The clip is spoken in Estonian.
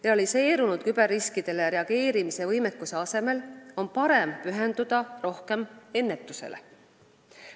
Realiseerunud küberriskidele reageerimise võimekuse asemel on parem pühenduda rohkem ennetusele.